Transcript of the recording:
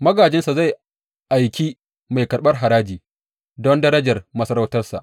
Magājinsa zai aiki mai karɓar haraji don darajar masarautarsa.